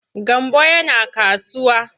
Gambo yana kasuwa.